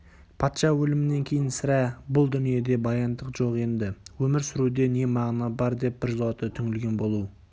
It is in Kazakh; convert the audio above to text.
патша өлімінен кейін сірә бұл дүниеде баяндық жоқ енді өмір сүруде не мағына бар деп біржолата түңілген болу